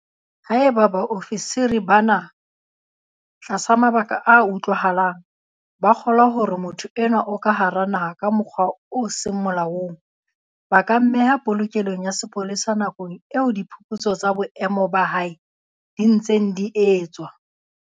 Haeba baofisiri bana, tlasa mabaka a utlwahalang, ba kgolwa hore motho enwa o ka hara naha ka mokgwa o seng molaong, ba ka mmeha polokelong ya sepolesa nakong eo diphuputso tsa boemo ba hae di ntseng di etswa.